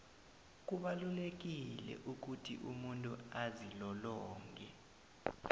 kubalulekile ukuthi umuntu azilolonge